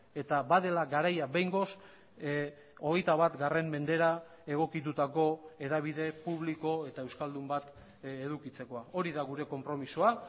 eta badela garaia behingoz hogeita bat mendera egokitutako hedabide publiko eta euskaldun bat edukitzekoa hori da gure konpromisoa